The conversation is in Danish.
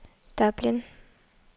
Dublin